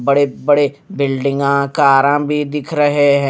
बड़े-बड़े बिल्डिंगा कारा भी दिख रहे हैं।